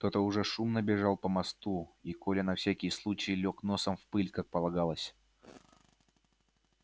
кто то уже шумно бежал по мосту и коля на всякий случай лёг носом в пыль как полагалось